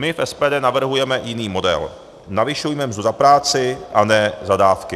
My v SPD navrhujeme jiný model - navyšujme mzdu za práci a ne za dávky.